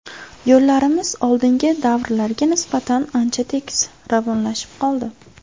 Yo‘llarimiz oldingi davrlarga nisbatan ancha tekis, ravonlashib qoldi.